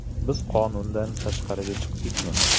Biz qonundan tashqariga chiqdikmi?